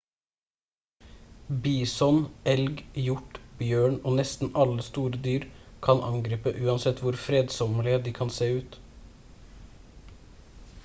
bison elg hjort bjørn og nesten alle store dyr kan angripe uansett hvor fredsommelige de kan se ut